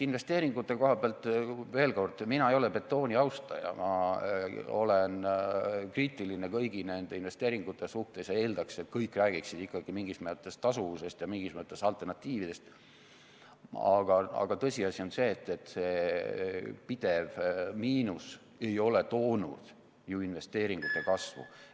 Investeeringute kohapealt veel kord: mina ei ole betooni austaja, ma olen kriitiline kõigi nende investeeringute suhtes ja eeldaks, et kõik räägiksid ikkagi mingis mõttes tasuvusest ja mingis mõttes alternatiividest, aga tõsiasi on see, et see pidev miinus ei ole toonud ju investeeringute kasvu.